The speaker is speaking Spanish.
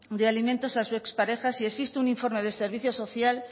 de alimentos a su expareja si existe un informe del servicio social